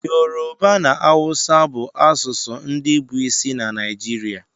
Yorùbá na áwúsa bụ asụsụ ndị bụ isi na Naịjirịa